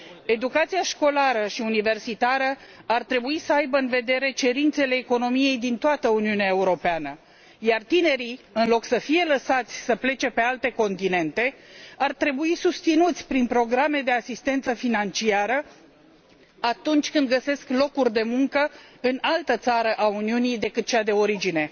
Educația școlară și universitară ar trebui să aibă în vedere cerințele economiei din toată Uniunea Europeană, iar tinerii, în loc să fie lăsați să plece pe alte continente, ar trebui susținuți prin programe de asistență financiară atunci când găsesc locuri de muncă în altă țară a Uniunii decât cea de origine.